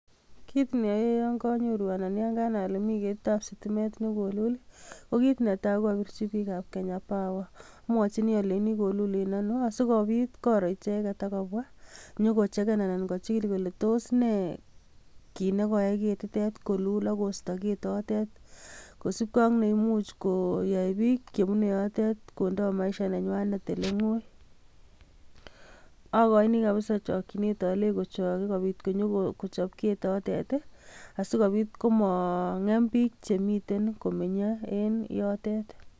Kit neoyoe yon konyooru, anan kanai ale miten ketitab sitimet nekoolul, ko kit netai ko abirchii bikab Kenya power .Amwochini alenyini koluul en anoo, asikobiit koroi icheket akobwa nyon kochegen anan kochigil kole tos nee kit nekoyai ketitet koluul ak koistoo ketot tet, kosiibge ak neimuch koyai bike chebune yote kondee maishanenywanet oleng'oi. Okoini kabisa chokchinet olenyii kochok, sikobiit kobwa kochob ketotet asikobiit komangeem bik chemiten komenyee enyotet.